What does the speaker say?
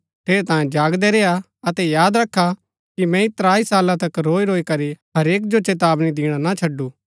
ठेरैतांये जागदै रेय्आ अतै याद रखा कि मैंई त्राई साला तक रोईरोई करी हरेक जो चेतावनी दिणा ना छडु